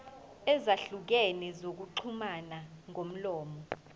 ezahlukene zokuxhumana ngomlomo